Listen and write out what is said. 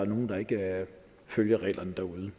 nogle der ikke følger reglerne derude